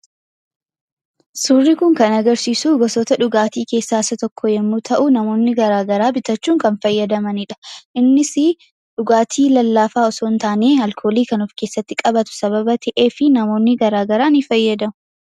Suurri kun kan agarsiisu gosoota dhugaatii keessaa isa tokko yommuu ta'u, namoonni garaagaraa bitachuun kan fayyadamaniidha. Innisii dhugaatii lallaafaa osoo hin taane, alkoolii kan of keessatti qabatu sababa ta'eefii namoonni garaagaraa ni fayyadamu.